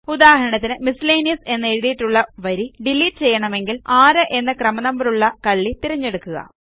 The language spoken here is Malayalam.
ഉദാഹരണത്തിന് മിസ്സലേനിയസ് എന്നെഴുതിയിട്ടുള്ള വരി ഡിലീറ്റ് ചെയ്യണമെങ്കിൽ 6 എന്ന ക്രമ നമ്പറുള്ള കള്ളി തിരഞ്ഞെടുക്കുക